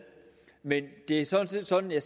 men det er sådan set sådan at